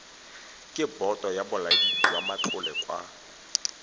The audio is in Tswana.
ke boto ya bolaodijwamatlole ka